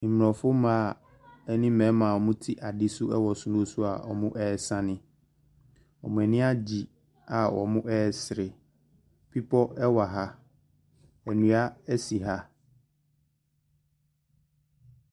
Mmofrɔfo mma ne mmarima a wɔte ade soro a wɔresane. Wɔn ani agye a wɔresere. Bepɔ wɔ ha. Nnua si ha.